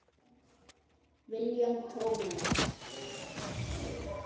William Thomas.